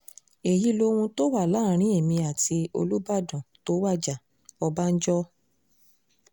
èyí lohun tó wà láàrin èmi àti olùbàdàn tó wájà- ọbànjọ́